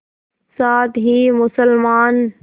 साथ ही मुसलमान